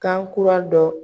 Kan kura dɔ